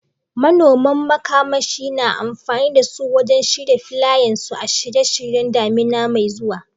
Manoman makamashi na amfani da su wajen share filayensu a shirye-shiryen damina mai zuwa.